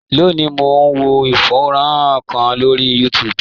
Lónìí, mò ń wo fọ́nrán kan lórí YouTube.